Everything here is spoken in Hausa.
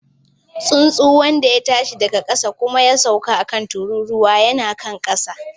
Tsuntsun wanda ya tashi daga ƙasa kuma ya sauka a kan tururuwa yana kan ƙasa.